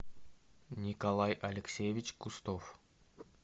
николай алексеевич кустов